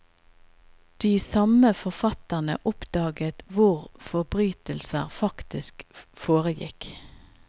De samme forfatterne oppdaget hvor forbrytelser faktisk foregikk.